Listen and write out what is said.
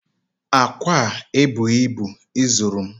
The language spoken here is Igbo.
Akwa a ebuhi ibu izuru m